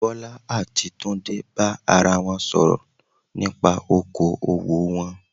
Bọ́lá àti Túndé bá ara wọn sọ̀rọ̀ nípa okoòwò wọn